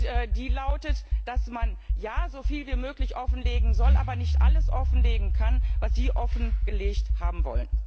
Und die lautet, dass man so viel wie möglich offenlegen soll, aber nicht alles offenlegen kann, was Sie offengelegt haben wollen.